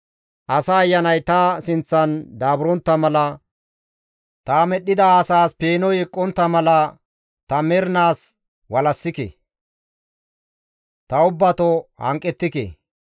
Asa ayanay ta sinththan daaburontta mala ta medhdhida asaas peenoy eqqontta mala ta mernaas walassike; ta ubbato hanqettike.